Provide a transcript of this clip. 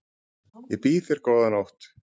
Ég býð þér góða nótt.